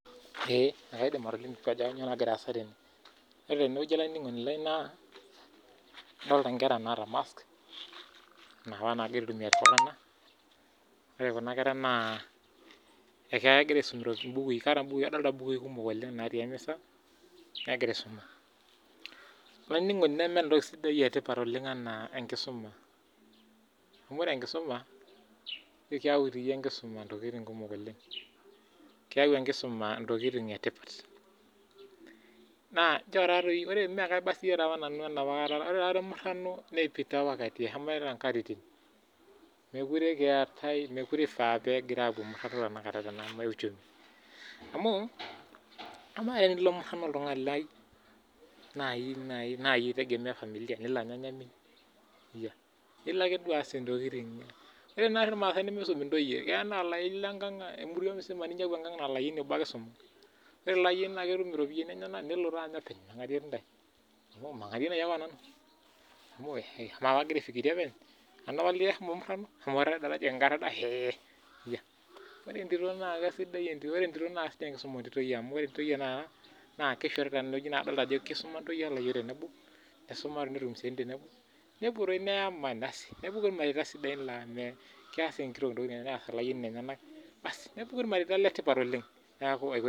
Ee kaidim atolimu ajo kainyoo nagira aasa tene. Ore teneweji olaininingoni lai naa adolita nkera naata mask, napa naata iltunganak, ore Kuna kera naa kegira aisum mbukui adolita mbukui kumok oleng natii emisa, negira aisuma. Olaininingoni lai nemeeta entoki etipat enaa enkisuma .Amu ore enkisuma ,ekenya doi enkisuma ntokiting kumok oleng, naa keyau enkisuma ntokiting etipat. Naa ore sii enapakata emurano neipita apa eshomo apa nkatitin, mookure eifaa pee epoitoi murano tenakata tena uchumi. Amu amaa tinilo naaji murano olaininingoni lai naa yie eitegemeae familia, ore naari irmaasai nimisum ntoyie ,keya nilo enkang naa oleyioni obo ake eisuma. Ore ilo ayioni netum ropiyiani enyanak nelo taa anya openy mengarie ntae amu mangarie naji ake onanu. Amu amaa agira aifikiria openg, nanu apa latiaka shomo murano, ore enkisuma tentito naa isidai amu ore ntoyie naa ore teneweji kadolita kisuma layiok ontoyie tenebo, nisuma netum siaitin tenebo, nepuo doi neyama ,asi nepuku ormarei sidai laa kees inkitok ntokiting enyenak nees olayioni nenyenak ,nepuku ormarei letipat oleng.